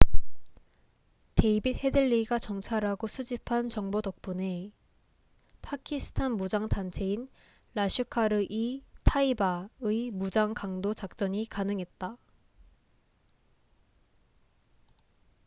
데이빗 헤들리가 정찰하고 수집한 정보 덕분에 파키스탄 무장 단체인 라슈카르 이 타이바 laskhar-e-taiba의 무장 강도 작전이 가능했다